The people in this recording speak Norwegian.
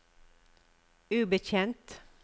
ubetjent